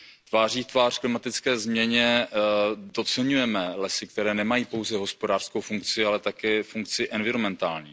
Tváří v tvář klimatické změně podceňujeme lesy, které nemají pouze hospodářskou funkci, ale také funkci environmentální.